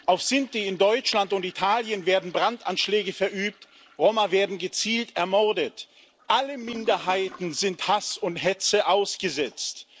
Auf Sinti in Deutschland und Italien werden Brandanschläge verübt, Roma werden gezielt ermordet, alle Minderheiten sind Hass und Hetze ausgesetzt.